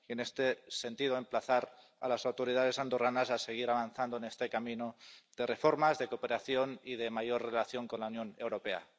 En este sentido, cabe emplazar a las autoridades andorranas a seguir avanzando en este camino de reformas, de cooperación y de mayor relación con la Unión Europea.